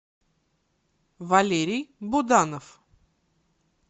валерий буданов